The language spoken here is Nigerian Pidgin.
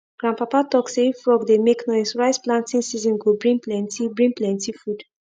grandpapa talk say if frog dey make noise rice planting season go bring plenty bring plenty food